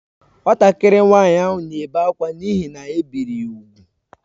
Nwatakịrị nwanyị ahụ na-ebe akwa n’ihi na e biri ya úgwù